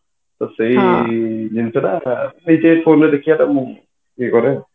ତ ସେଇ ଜିନିଷ ଟା ସେଇଥି ପାଇଁ phone ରେ ଦେଖିବା ଟା ମୁଁ ଇଏ କରେ